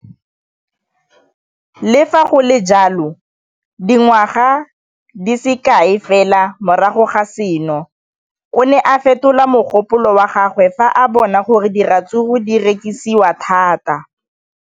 Le fa go le jalo, dingwaga di se kae fela morago ga seno, o ne a fetola mogopolo wa gagwe fa a bona gore diratsuru di rekisiwa thata.